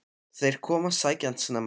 Þeir komu að sækja hann snemma.